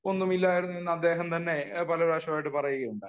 ഒന്നും ഇല്ലായിരുന്നു എന്ന് അദ്ദേഹം തന്നെ പല പ്രാവശ്യം പറയുകയുണ്ടായി